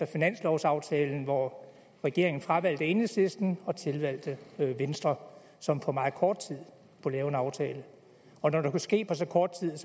finanslovsaftalen hvor regeringen fravalgte enhedslisten og tilvalgte venstre som på meget kort tid kunne lave en aftale når det kunne ske på så kort tid